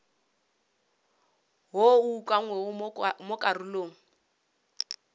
wo o ukangwego mo karolong